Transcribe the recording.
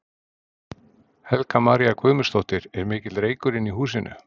Helga María Guðmundsdóttir: Er mikill reykur inni í húsinu?